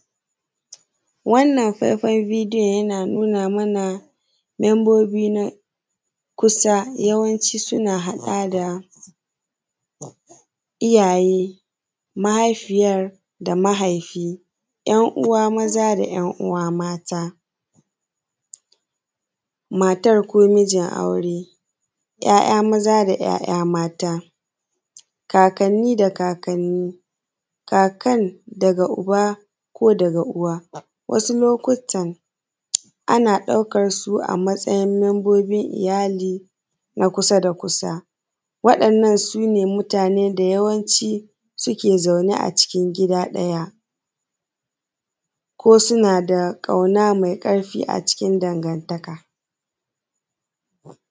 Wannan faifan bidiyo yana nuna mana membobi na kusa yawanci suna haɗa da iyaye, mahaifiyar da mahaifi ‘yan uwa maza da ‘yan uwa mata, matar ko mijin aure ‘ya’ya maza da ‘ya’ya mata,, Kakanni da kakanni kakan daga Uba ko daga Uwa, wasu lokutan ana ɗaukar su a matsayin membobin iyali na kusa da kusa, waɗannan su ne mutane da yawanci suke zaune a gida ɗaya, ko suna da ƙauna mai ƙarfi a cikin dangantaka